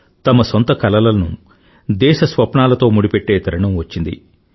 తమ సొంత కలలను దేశ స్వప్నాలతో ముడిపెట్టే తరుణం వచ్చింది